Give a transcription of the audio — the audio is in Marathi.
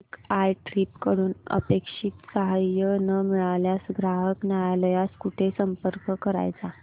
मेक माय ट्रीप कडून अपेक्षित सहाय्य न मिळाल्यास ग्राहक न्यायालयास कुठे संपर्क करायचा